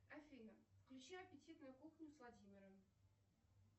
афина включи аппетитную кухню с владимиром